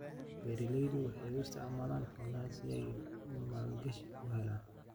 Beeraleydu waxay u isticmaalaan xoolaha si ay maalgashi u helaan.